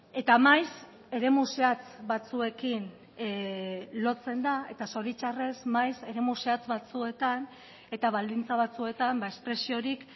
eta maiz eremu zehatz batzuekin lotzen da eta zoritxarrez maiz eremu zehatz batzuetan eta baldintza batzuetan espresiorik